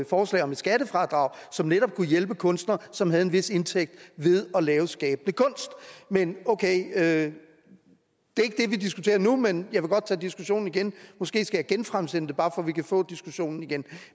forslag om et skattefradrag som netop kunne hjælpe kunstnere som havde en vis indtægt ved at lave skabende kunst men okay det er ikke det vi diskuterer nu men jeg vil godt tage diskussionen igen måske skal jeg genfremsætte det bare for at vi kan få diskussionen igen